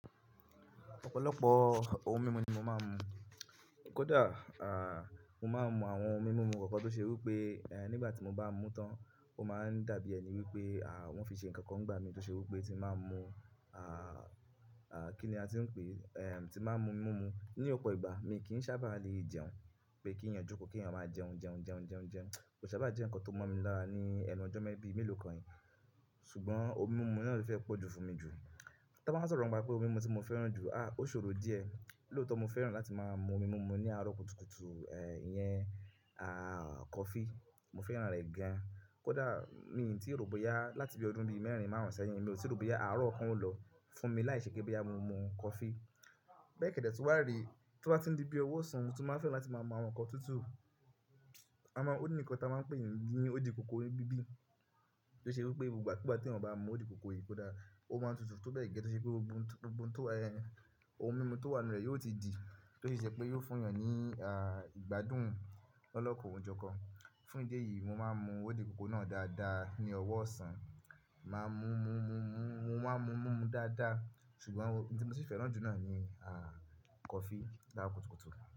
Ọ̀pọ̀lọpọ̀ ohun mímu ni mo máa ń mu. Kódà, mo máa ń mu àwọn ohun mímu mímú kankan tó ṣe wí pé, nígbà tí mo bá mú tán, ó máa ń dàbí ẹni wípé, wón fi n ṣe ǹnkan kan nigbá mi tó ṣe wí pé tí n bá mu, kí ni a ti ń pè é, tí n bá mu mímú. Ní ọ̀pọ̀ ìgbà mi kì í sábà le jẹun, pé kí ẹ̀yàn jókòó, kí ẹ̀yàn máa jẹun jẹun jẹun jẹun jẹun. Kò sábà jẹ́ ǹnkan tó mọ̀ mi lára ní ẹnu ọjọ́ mẹ́ bí mélòó kan. Ṣùgbọ́n ohun mímu náà ló fẹ́ pọ̀jù fún mi jù. Ta bá wa sọ̀rọ̀ ni pa pé ohun mímu tí mo fẹ́ràn jù, ó ṣòro díẹ̀. Lóòtọ́ mo fẹ́ràn láti máa mu ohun mímu ní àárọ̀ kùtùkùtù, iyẹn, coffee. Mo fẹ́ràn rẹ̀ gan. Kódà mi ò tí ì rò bọyá láti bí ọdún bí mẹ́ẹ̀rin márùn-ún sẹ́yìn, mi ò tí rò bọyá àárọ̀ kan o lọ fún mi láìṣe pe boya mo mu coffee. Béèkẹ́dẹ̀ tun wàá re, tí ó bá ti n di bí owó ọ̀sán, mo tun maa n fẹ́ràn láti máa mú àwọn ǹnkan tútù. A mọ, ó ní ǹkan táa máa ń pè ní òdìkòkò ni bíbí tó ṣe wí pé gbogbo ìgbà ku gba tí eyan bá máa mu òdìkòkò yìí kódà ó máa ń tutù tó bẹ́ẹ̀ gẹ́gẹ́, tó ṣe pé gbogbo ohun tó wa, ehn, ohun mímu tó wà nínú rẹ̀ yóò ti di. Tó ṣi je pé yóò fún èèyàn ní, ah, ìgbádùn lọ́lokan ò jókan fún ìdí èyí mo máa ń mu òdì ìkòkò náà dáadáa ní ọ̀wọ́ ọ̀sán. Máa mú mú mú mú mú, mo máa ń mu mímú dáadáa. Ṣùgbọ́n ohun tí mo sì fẹ́ràn jù náà ni, ah, coffee ní àárọ̀ kùtùkùtù.